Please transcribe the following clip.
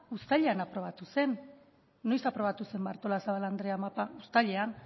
uztailean aprobatu zen noiz aprobatu zen ba artolazabal andrea mapa uztailean